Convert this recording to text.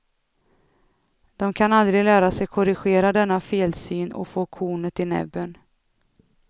De kan aldrig lära sig korrigera denna felsyn och få kornet i näbben.